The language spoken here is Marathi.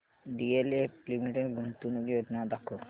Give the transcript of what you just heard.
डीएलएफ लिमिटेड गुंतवणूक योजना दाखव